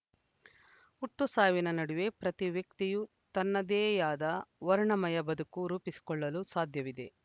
ಹುಟ್ಟು ಸಾವಿನ ನಡುವೆ ಪ್ರತಿ ವ್ಯಕ್ತಿಯು ತನ್ನದೇಯಾದ ವರ್ಣಮಯ ಬದುಕು ರೂಪಿಸಿಕೊಳ್ಳಲು ಸಾಧ್ಯವಿದೆ